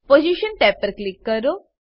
position tab પર click કરો